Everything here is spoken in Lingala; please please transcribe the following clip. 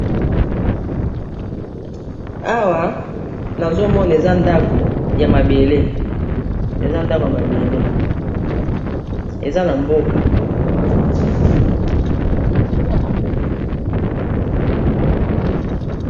Awa nazomona eza ndako ya mabele eza ndako ya mabele eza na mboka.